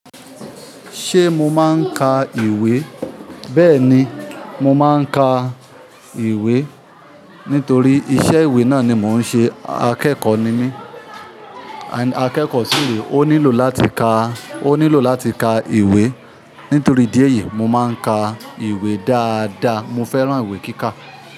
Ṣé mo máa ń ka ìwé? Bẹ́ẹ̀ ni, mo máa ń ka ìwé nítorí iṣẹ́ ìwé náà ni mò ń ṣe. Akẹ́kọ̀ọ́ ni mí, akẹ́kọ̀ọ́ sì rè, ó nílò láti ka, ó nílò láti ka ìwé. Nítorí idí eyìí, mo máa ń ka ìwé dáadáa. Mo fẹ́ràn ìwé kíkà.